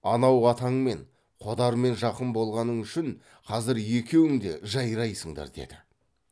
анау атаңмен қодармен жақын болғаның үшін қазір екеуің де жайрайсыңдар деді